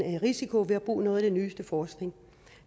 risiko ved at bruge noget af det nyeste forskning